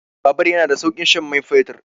Bubur yana da saukin shan mai fetur.